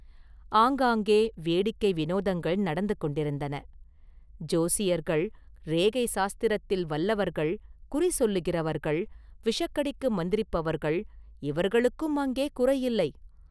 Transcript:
ஆங்காங்கே வேடிக்கை விநோதங்கள் நடந்து கொண்டிருந்தன.ஜோசியர்கள், ரேகை சாஸ்திரத்தில் வல்லவர்கள், குறி சொல்லுகிறவர்கள், விஷக்கடிக்கு மந்திரிப்பவர்கள், இவர்களுக்கும் அங்கே குறையில்லை.